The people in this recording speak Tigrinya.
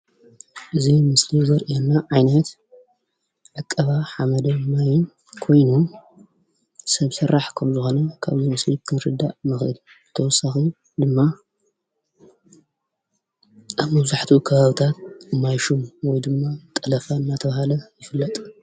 እዚ ምስሊ ዘርእየና ዓይነት ዕቀባ ሓመድን ማይን ኮይኑ ሰብ ስራሕ ከም ዝኾነ ካብዚ ምስሊ ክንርዳእ ንክእል፡፡ ብተወሳኪ ድማ ኣብ መብዛሕትኡ ከባቢታት ማይ ሹም ወይ ድማ ጠለፋ እንዳተባሃለ ይፍለጥ፡፡